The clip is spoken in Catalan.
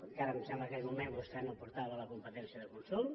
encara em sembla que en aquell moment vostè no portava la competència de consum